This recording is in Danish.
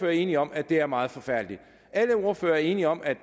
er enige om at det er meget forfærdeligt alle ordførere er enige om at